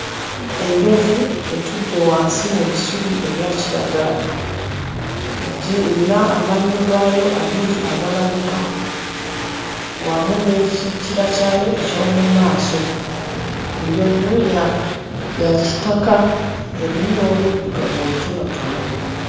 Enjovu etudde wansi mu bisubi ebya kiragala, egi erina amannyo gaayo abiri agalabika wamu n'ekikira kyayo eky'omu maaso. Enjovu ya kitaka, erimu n'oluddugavu olutonotono.